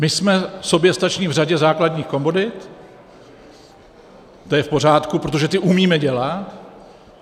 My jsme soběstační v řadě základních komodit, to je v pořádku, protože ty umíme dělat.